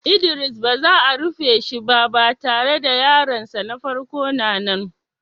Idris ba za a rufe shiba, ba tare da yaron sa na farko na nan.